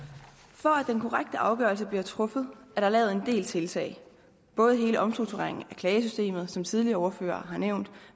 for at den korrekte afgørelse bliver truffet er der lavet en del tiltag både hele omstruktureringen af klagesystemet som tidligere ordførere har nævnt